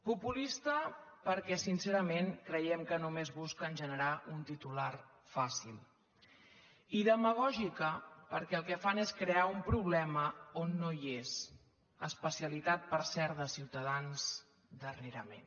populista perquè sincerament creiem que només busquen generar un titular fàcil i demagògica perquè el que fan és crear un problema on no hi és especialitat per cert de ciutadans darrerament